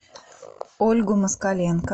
ольгу москаленко